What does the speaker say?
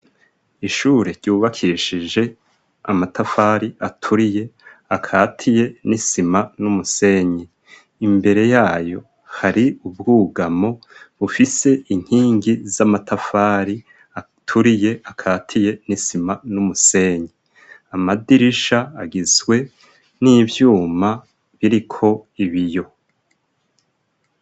Ishure ryubakishije amatafari aturiye akatiye n'isima n'umusenyi imbere yayo hari ubwugamo bufise inkingi z'amatafari aturiye akatiye nisima n'umusenyi amadirisha agizwe ni ivyuma biriko ibiyo.